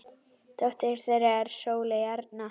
Dóttir þeirra er Sóley Arna.